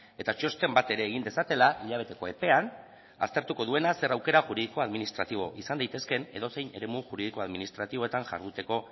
eta txosten bat ere egin dezatela hilabeteko epean aztertuko duena zer aukera juridiko administratibo izan daitezkeen edozein eremu juridiko administratiboetan jarduteko